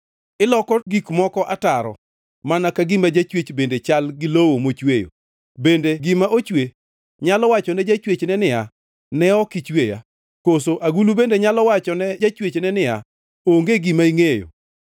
Iloko gik moko ataro, mana ka gima jachwech bende chal gi lowo mochweyo! Bende gima ochwe nyalo wachone jachwechne niya, “Ne ok ichweya?” Koso agulu bende nyalo wachone jachwechne niya, “Onge gima ingʼeyo?”